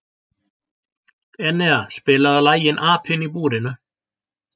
Enea, spilaðu lagið „Apinn í búrinu“.